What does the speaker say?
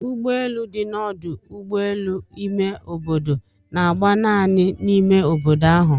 Ụgbọelụ dị na ọdu ụgbọelụ ime obodo na-agba naanị n'ime obodo ahụ.